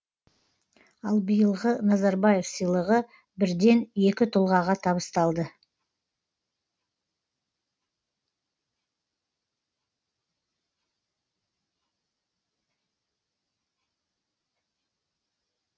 ал биылғы назарбаев сыйлығы бірден екі тұлғаға табысталды